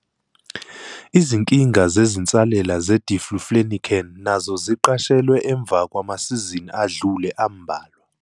Izinkinga zezinsalela ze-diflufenican nazo ziqashelwe emva kwamasizini adlule ambalwa.